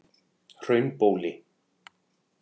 Hraunbóli